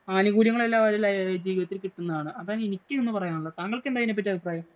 ആനുകൂല്യങ്ങളെല്ലാം ജീവിതത്തില്‍ കിട്ടുന്നതാണ് അതാണ് എനിക്ക് ഇന്ന് പറയാന്‍ ഒള്ളെ. താങ്കള്‍ക്ക് എന്താ അതിനെ പറ്റി അഭിപ്രായം.